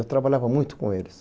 Eu trabalhava muito com eles.